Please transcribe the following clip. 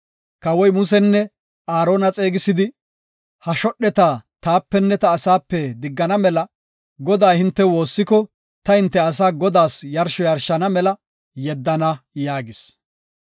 Kawoy Musenne Aarona xeegisidi, “Ha shodheta taapenne ta asaape diggana mela Godaa hinte woossiko ta hinte asaa Godaas yarsho yarshana mela yeddana” yaagis.